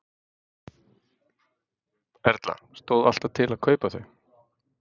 Erla: Stóð alltaf til að kaupa þau?